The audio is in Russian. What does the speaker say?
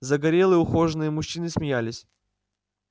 загорелые ухоженные мужчины смеялись